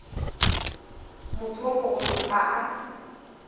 motho yo mogolo ga a